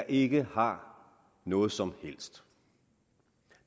ikke har noget som helst